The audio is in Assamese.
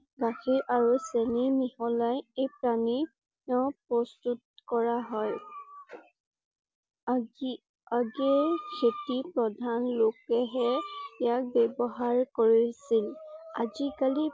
গাখীৰ আৰু চেনী মিহলাই এই পানীয় প্ৰস্তুত কৰা হয়। আজি আজি খেতি প্ৰধান লোকে হে ইয়াক ব্যৱহাৰ কৰিছিল। আজি কালি